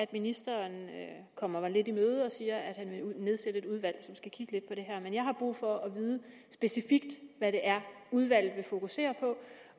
at ministeren kommer mig lidt i møde og siger at han vil nedsætte et udvalg som skal kigge lidt på det her men jeg har brug for at vide specifikt hvad det er udvalget vil fokusere på